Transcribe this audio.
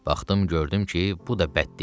Baxdım, gördüm ki, bu da bəd deyil.